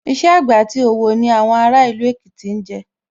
Iṣẹ́ àgbẹ̀ àti òwò ni àwọn ará ìlú Èkìtì jẹ́